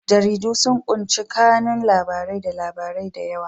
Jaridu sun ƙunshi kanun labarai da labarai da yawa.